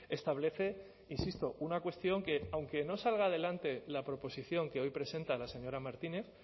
establece insisto una cuestión que aunque no salga adelante la proposición que hoy presenta la señora martínez